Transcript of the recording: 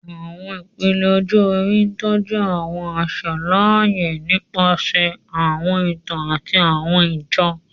Awọn ipele ọjọ-ori tọju awọn aṣa laaye nipasẹ awọn itan ati awọn ijó